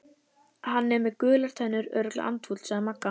Hann er með gular tennur, örugglega andfúll sagði Magga.